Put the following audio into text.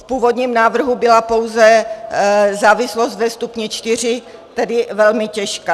V původním návrhu byla pouze závislost ve stupni IV, tedy velmi těžká.